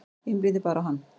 Einblíndi bara á hann.